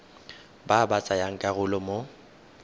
ba ba tsayang karolo mo